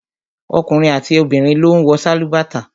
Ọkùnrin àti obìnrin ló ń wọ sálúbàtà